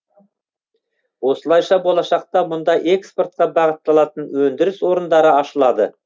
осылайша болашақта мұнда экспортқа бағытталатын өндіріс орындары ашылады